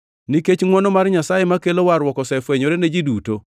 Nikech ngʼwono mar Nyasaye makelo warruok osefwenyore ne ji duto.